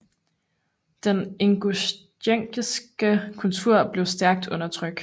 Den ingusjetiske kultur blev stærkt undertrykt